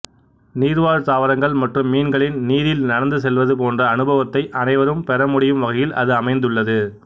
நீர்வாழ் தாவரங்கள் மற்றும் மீன்களின் நீரில் நடந்து செல்வது போன்ற அனுபவத்தை அனைவரும் பெற முடியும் வகையில் அது அமைந்துள்ளது